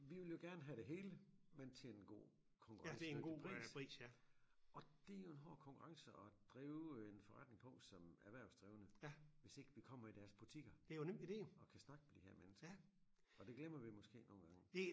Vi vil jo gerne have det hele men til en god konkurrencedygtig pris og det jo en hård konkurrence at drive en forretning på som erhvervsdrivende hvis ikke vi kommer i deres butikker og kan snakke med de her mennesker og det glemmer vi måske nogle gange